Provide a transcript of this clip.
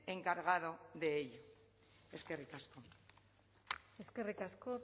encargado de ello eskerrik asko eskerrik asko